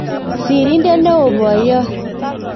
Sirindet neoo-poiyot